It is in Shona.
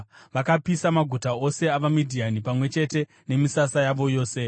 Vakapisa maguta ose avaMidhiani, pamwe chete nemisasa yavo yose.